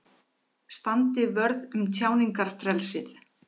Standi vörð um tjáningarfrelsið